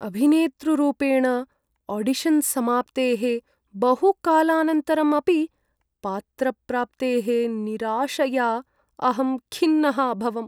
अभिनेतृरूपेण, audition समाप्तेः बहुकालानन्तरम् अपि पात्रप्राप्तेः निराशया अहं खिन्नः अभवम्।